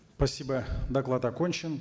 спасибо доклад окончен